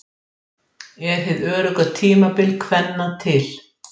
Mótmælendur biðja um hjálp